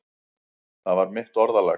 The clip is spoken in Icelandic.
Það var mitt orðalag.